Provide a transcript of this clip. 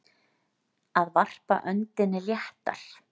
Að varpa öndinni léttar